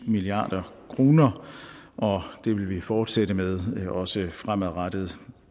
milliard kr og det vil vi fortsætte med også fremadrettet